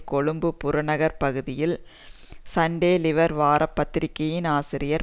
கொழும்பு புறநகர் பகுதியில் Sunday Leader வார பத்திரிகையின் ஆசிரியர்